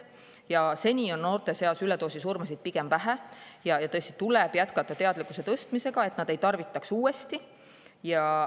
Aga seni on noorte seas üledoosisurmasid pigem vähe ja tõesti tuleb jätkata teadlikkuse tõstmisega, et nad ei tarvitaks aina uuesti.